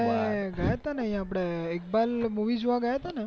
તમે ગ્યા તા ને અહિયાં આપડે ઈકબાલ movie જોવા ગયા તા ને